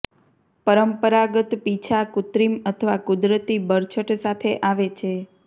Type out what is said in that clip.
પરંપરાગત પીંછાં કૃત્રિમ અથવા કુદરતી બરછટ સાથે આવે છે